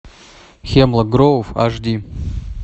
хемлок гроув аш ди